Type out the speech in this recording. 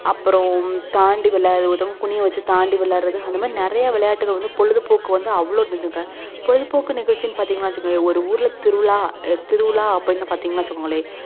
அப்புறம் தாண்டி விளையாடுறதும் குனியச்சு வச்சு தாண்டி விளையாடுறதும் அந்த மாதிரி நெறைய விளையாட்டுக்கள் பொழுதுப்போக்கு வந்து அவ்ளோ இருந்துதுங்க பொழுதுபோக்குனுஇருந்துச்சு வச்சுகோங்களே ஒரு ஊருல திருவிழா அல்ல திருவிழா அப்டின்னு பாத்திங்க வச்சுக்கோங்களே